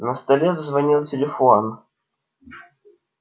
на столе зазвонил телефон